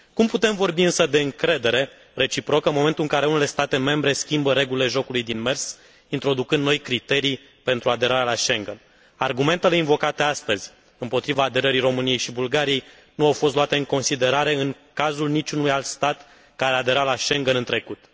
Cum putem vorbi însă de încredere reciprocă în momentul în care unele state membre schimbă regulile jocului din mers, introducând noi criterii pentru aderarea la Schengen? Argumentele invocate astăzi împotriva aderării României și Bulgariei nu au fost luate în considerare în cazul niciunui alt stat care a aderat la Schengen în trecut.